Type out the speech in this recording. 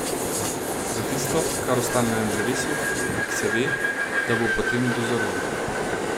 Za tisto, kar ostane na drevesu, se ve, da bo potem dozorelo.